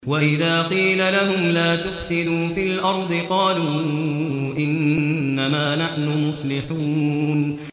وَإِذَا قِيلَ لَهُمْ لَا تُفْسِدُوا فِي الْأَرْضِ قَالُوا إِنَّمَا نَحْنُ مُصْلِحُونَ